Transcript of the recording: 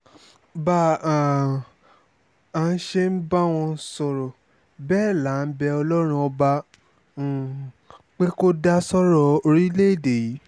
bá um a ṣe ń bá wọn sọ̀rọ̀ bẹ́ẹ̀ là à ń bẹ ọlọ́run ọba um pé kó dá sọ́rọ̀ orílẹ̀‐èdè yìí